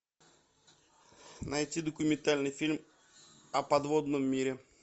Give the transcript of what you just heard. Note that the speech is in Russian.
найти документальный фильм о подводном мире